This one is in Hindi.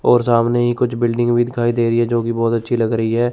और सामने ही कुछ बिल्डिंग भी दिखाई दे रही है जोकि बहुत अच्छी लग रही है।